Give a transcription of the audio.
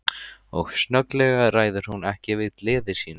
Og snögglega ræður hún ekki við gleði sína.